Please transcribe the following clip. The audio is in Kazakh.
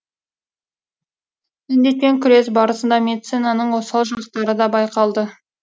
індетпен күрес барысында медицинаның осал жақтары да байқалды